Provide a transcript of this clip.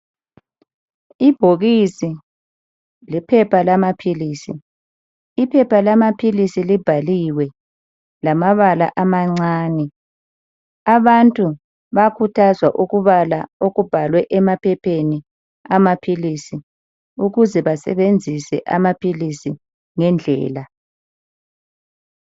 Ibhokisi lephepha lamaphilisi, iphepha lamaphilisi libhaliwe lamabala amancane. Abantu bayakhuthazwa ukubala okubhalwe emaphepheni amaphilisi ukuze basebenzisa amaphilisi ngendlela.